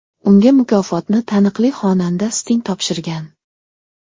Unga mukofotni taniqli xonanda Sting topshirgan.